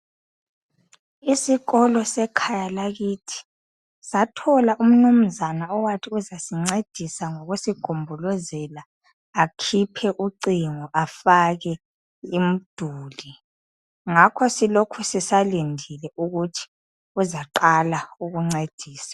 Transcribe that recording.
Isikolo sekhaya lakithi sathola umnumzana owathi uzasincedisa ngokusigombolozela akhiphe ucingo, afake imduli. Ngakho silokhe sisalindile ukuthi uzaqala ukuncedisa.